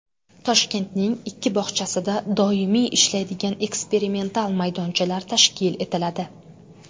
Toshkentning ikki bog‘chasida doimiy ishlaydigan eksperimental maydonchalar tashkil etiladi.